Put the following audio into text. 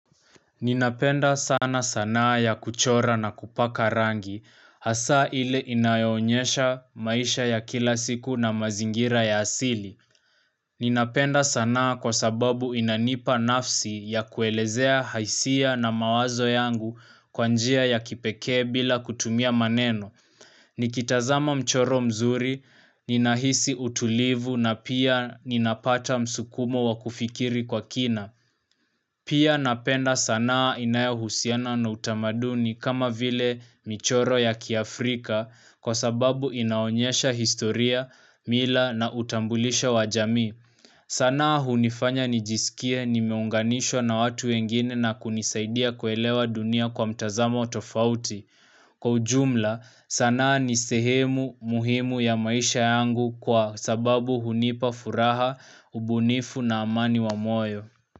Ninapenda sana sanaa ya kuchora na kupaka rangi, hasa ile inayoonyesha maisha ya kila siku na mazingira ya asili. Ninapenda sanaa kwa sababu inanipa nafsi ya kuelezea hisia na mawazo yangu kwa njia ya kipekee bila kutumia maneno. Nikitazama mchoro mzuri, ninahisi utulivu na pia ninapata msukumo wa kufikiri kwa kina. Pia napenda sanaa inayahusiana na utamaduni kama vile michoro ya kiafrika kwa sababu inaonyesha historia, mila na utambulisho wa jamii. Sanaa hunifanya nijisikie nimeunganishwa na watu wengine na kunisaidia kuelewa dunia kwa mtazamo tofauti. Kwa ujumla, sanaa ni sehemu muhimu ya maisha yangu kwa sababu hunipa furaha, ubunifu na amani wa moyo.